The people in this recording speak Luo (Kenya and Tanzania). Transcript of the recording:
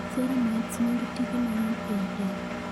ceramides nigi tije mang'eny ei del